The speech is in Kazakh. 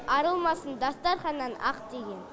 арылмасын дастарханнан ақ деген